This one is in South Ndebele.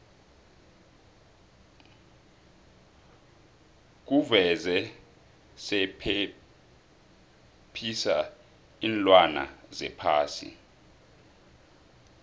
kuvuze sephephisa iinlwana zephasi